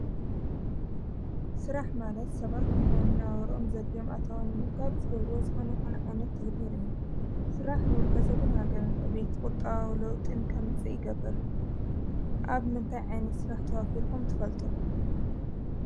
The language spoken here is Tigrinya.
ሥራሕ ማለት ሰባት እናእና ውሮኦም ዘድሎም ኣታውን ምርካብ ዝገብሩ ወጽኮነ ኣይኮን ዓይነት ተግበር እዩን ሥራሕ ንውልቀ ሰብን ሃገርን ዕቤት ቊጣው ለውጥን ከምፂእ ይገብር ኣብ ምንታይ ዓይኒ ሥራሕ ተዋፊርኹም ትፈልጡ።